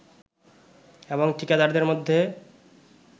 এবং ঠিকাদারদের মধ্যে